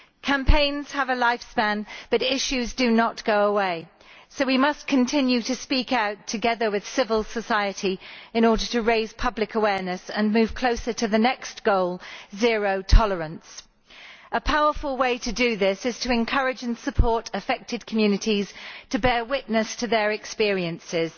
Campaigns have a lifespan but issues do not go away, so we must continue to speak out, together with civil society, in order to raise public awareness and move closer to the next goal zero tolerance. A powerful way to do this is to encourage and support affected communities in bearing witness to their experiences.